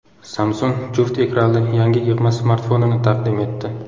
Samsung juft ekranli yangi yig‘ma smartfonini taqdim etdi.